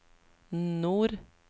nord